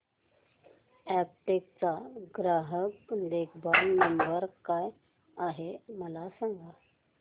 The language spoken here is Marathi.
अॅपटेक चा ग्राहक देखभाल नंबर काय आहे मला सांग